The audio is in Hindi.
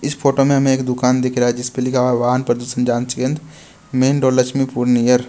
इस फोटो में हमें एक दुकान दिख रहा है जिसमें लिखा हुआ है वाहन प्रदर्शन जांच केंद्र मैन रोड लक्ष्मीपुर नियर --